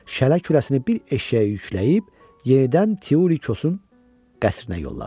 Şələ kürəsini bir eşşəyə yükləyib yenidən Teuli Kosun qəsrinə yollanır.